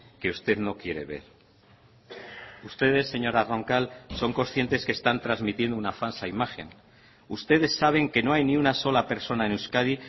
que usted no quiere ver ustedes señora roncal son conscientes que están transmitiendo una falsa imagen ustedes saben que no hay ni una sola persona en euskadi